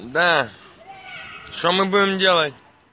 да что мы будем делать